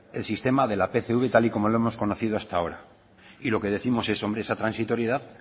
el sistema de la pcv tal y como lo hemos conocido hasta ahora y lo que décimos es hombre esa transitoriedad